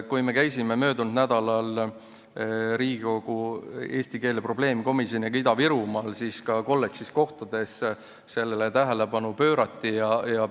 Kui me möödunud nädalal Riigikogu eesti keele õppe arengu probleemkomisjoniga Ida-Virumaal käisime, pöörati sellele tähelepanu ka kolledžis peetud kohtumisel.